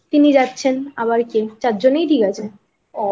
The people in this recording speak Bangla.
তিনি যাচ্ছেন আবার কে চারজন এই ঠিক আছে।